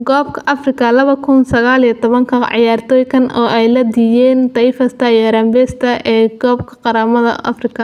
Kobka Afrika labada kuun iyo sagaal iyo tobanka: Ciyaartooy caan ah oo ay laadiyeen Taifa Stars iyo Harambee Stars ee koobka qaramada Afrika